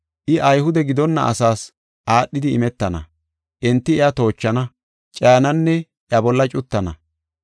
I Ayhude gidonna asaas aadhidi imetana. Enti iya toochana, cayananne iya bolla cuttana.